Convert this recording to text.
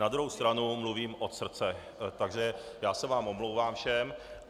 Na druhou stranu mluvím od srdce, takže já se vám omlouvám všem.